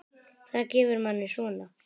Það gefur manni svona.